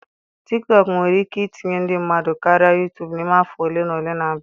Tiktọk nwere ike itinye ndị mmadụ karịa Yutubu n'ime afọ ole na ole na-abịa.